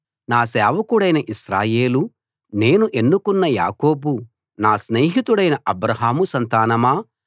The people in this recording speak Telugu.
నా సేవకుడవైన ఇశ్రాయేలూ నేను ఎన్నుకున్న యాకోబూ నా స్నేహితుడైన అబ్రాహాము సంతానమా